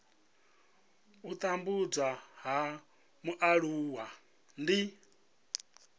u tambudzwa ha mualuwa ndi